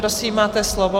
Prosím, máte slovo.